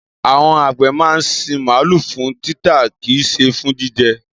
Àwon àgbẹ̀ máa ń sin màálù fún títà kìí ṣe fún jíjẹ.